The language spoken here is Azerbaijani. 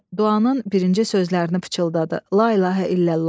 Duanın birinci sözlərini pıçıldadı: La ilahə illallah.